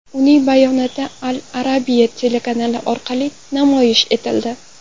Uning bayonoti Al Arabia telekanali orqali namoyish etildi.